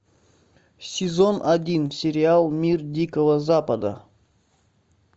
сезон один сериал мир дикого запада